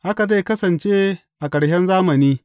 Haka zai kasance a ƙarshen zamani.